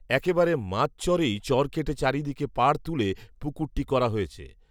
একেবারে মাঝচরেই চর কেটে চারদিকে পাড় তুলে পুকুরটি করা হয়েছে